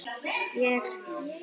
Ég styn.